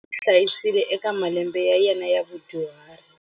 N'wana wa yena wa nhwanyana u n'wi hlayisile eka malembe ya yena ya vudyuhari.